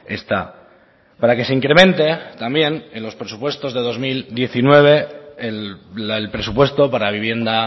está para que se incremente también en los presupuestos de dos mil diecinueve el presupuesto para vivienda